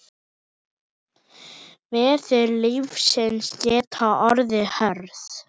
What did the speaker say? Veður lífsins geta orðið hörð.